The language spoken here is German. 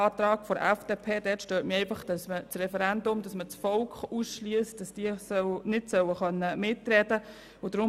Am Antrag der FDP stört mich, dass man damit ein Referendum ausschliesst, sodass das Volk nicht mitreden dürfte.